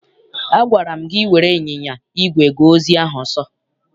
Agwara m gị were ịnyịnya igwe gaa ozi ahụ ọsọ!